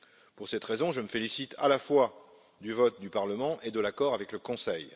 Pour cette raison, je me félicite à la fois du vote du Parlement et de l'accord avec le Conseil.